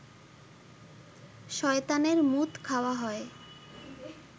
শয়তানের মুত খাওয়া হয়